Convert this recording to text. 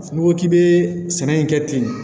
N'i ko k'i bɛ sɛnɛ in kɛ ten